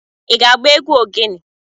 I ga-agba egwu ogene?